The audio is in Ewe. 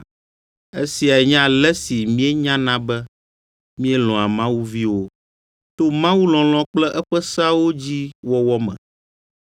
Esiae nye ale si míenyana be míelɔ̃a Mawu Viwo: to Mawu lɔlɔ̃ kple eƒe seawo dzi wɔwɔ me.